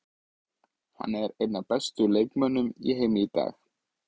Hann er einn af bestu leikmönnum í heimi í dag.